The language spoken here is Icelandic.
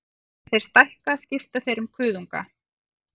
Þegar þeir stækka skipta þeir um kuðunga.